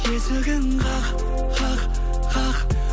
есігін қақ қақ қақ